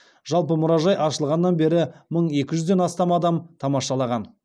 жалпы мұражай ашылғаннан бері мың екі жүзден астам адам тамашалаған